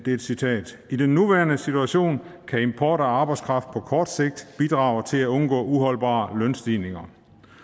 citat i den nuværende situation kan import af arbejdskraft på kort sigt bidrage til at undgå uholdbare lønstigninger